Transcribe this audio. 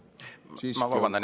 Ma vabandan!